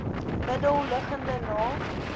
middel liggende naak